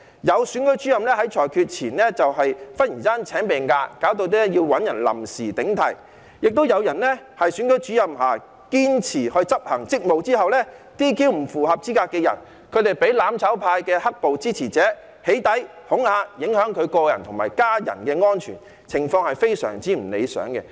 有選舉主任在裁決前突然請病假，以致要找人臨時頂替；亦有選舉主任在堅持執行職務 ，"DQ" 不符合資格的人後，被"攬炒派"的"黑暴"支持者起底和恐嚇，影響他個人及家人的安全，情況非常不理想。